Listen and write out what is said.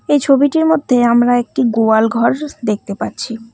এই ছবিটির মধ্যে আমরা একটি গোয়ালঘর দেখতে পাচ্ছি।